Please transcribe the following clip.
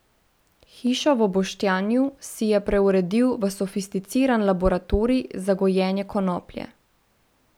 Hišo v Boštanju si je preuredil v sofisticiran laboratorij za gojenje konoplje.